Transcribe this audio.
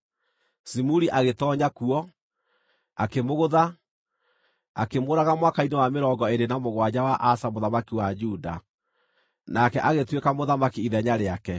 Zimuri agĩtoonya kuo, akĩmũgũtha, akĩmũũraga mwaka-inĩ wa mĩrongo ĩĩrĩ na mũgwanja wa Asa mũthamaki wa Juda. Nake agĩtuĩka mũthamaki ithenya rĩake.